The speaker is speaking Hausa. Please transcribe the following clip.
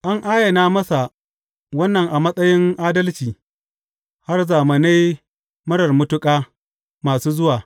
An ayana masa wannan a matsayin adalci har zamanai marar matuƙa masu zuwa.